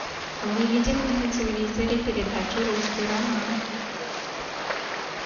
выведи мне на телевизоре передачу русский роман